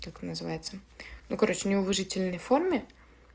как называется ну короче неуважительной форме